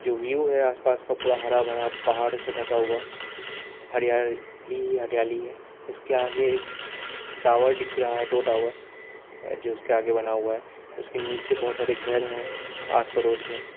View है आसपास का पूरा हरा भरा पहाड़ों से ढका हुआ हरियाली ही हरियाली है इसके आगे एक टावर दिख रहा है दो टावर उसके आगे बना हुआ है उसके नीचे बहुत सारे घर हैं आस पड़ोस में।